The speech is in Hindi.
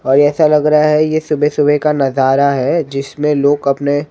और ऐसा लग रहा हैं यह सुबह-सुबह का नजारा हैं जिसमें लोग अपने--